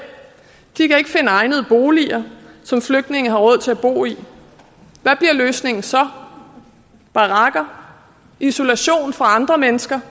de kan ikke finde egnede boliger som flygtninge har råd til at bo i hvad bliver løsningen så barakker isolation fra andre mennesker